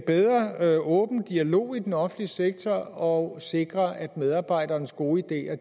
bedre åben dialog i den offentlige sektor og sikre at medarbejdernes gode ideer